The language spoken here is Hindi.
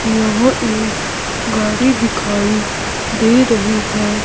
यहां एक गाड़ी दिखाई दे रही है।